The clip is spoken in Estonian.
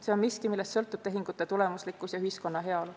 See on miski, millest sõltub tehingute tulemuslikkus ja ühiskonna heaolu.